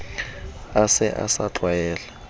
a se a sa tlwaela